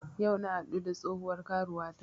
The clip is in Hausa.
Yau na haɗu da tsohuwar karuwata